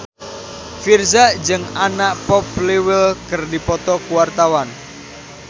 Virzha jeung Anna Popplewell keur dipoto ku wartawan